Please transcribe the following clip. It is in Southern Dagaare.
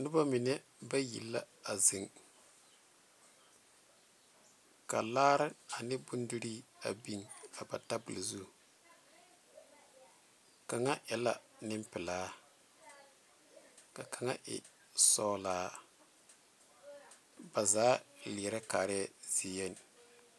Noba mine bayi la a zeŋ ka laare ane bondire a biŋ a ba tabol zu kaŋa e la Nenpelaa ka kaŋa e sɔglaa ba zaa leɛre kaara zie yenne.